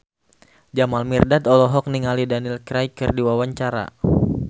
Jamal Mirdad olohok ningali Daniel Craig keur diwawancara